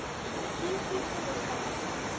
Hvíldu í friði, gamli vinur.